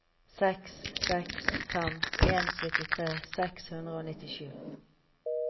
seks seks fem en syttitre seks hundre og nittisju